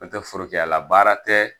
Nɔntɛ forokiyala baara tɛ